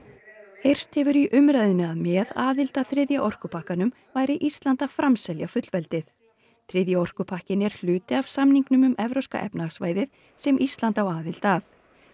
heyrst hefur í umræðunni að með aðild að þriðja orkupakkanum væri Ísland að framselja fullveldið þriðji orkupakkinn er hluti af samningnum um Evrópska efnahagssvæðið sem Ísland á aðild að